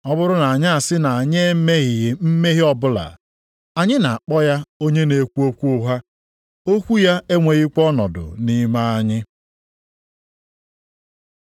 Ọ bụrụ na anyị asị na anyị emeghị mmehie ọbụla, anyị na-akpọ ya onye na-ekwu okwu ụgha, okwu ya enwekwaghị ọnọdụ nʼime anyị.